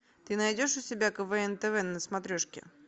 ты найдешь у себя квн тв на смотрешке